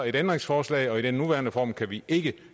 et ændringsforslag og i den nuværende form kan vi ikke